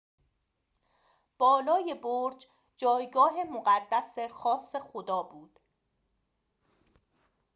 بالای برج جایگاه مقدس خاص خدا بود